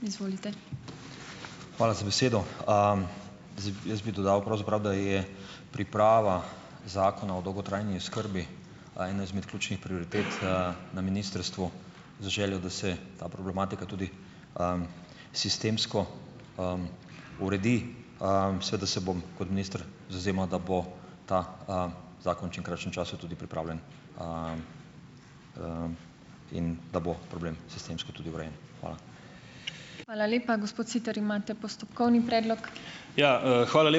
Hvala za besedo! jaz bi dodal pravzaprav, da je priprava zakona o dolgotrajni oskrbi ena izmed ključnih prioritet, na ministrstvu, z željo, da se ta problematika tudi, sistemsko, uredi. Seveda se bom kot minister zavzemal, da bo ta, zakon v čim krajšem času tudi pripravljen in da bo problem sistemsko tudi urejen. Hvala.